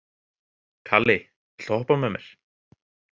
Kali, viltu hoppa með mér?